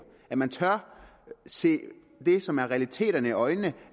og at man tør se det som er realiteterne i øjnene